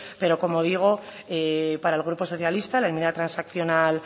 pero como digo para el grupo socialista la enmienda transaccional